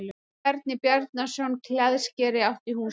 Bjarni Bjarnason klæðskeri átti húsið.